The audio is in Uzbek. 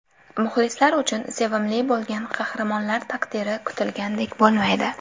Muxlislar uchun sevimli bo‘lgan qahramonlar taqdiri kutilgandek bo‘lmaydi.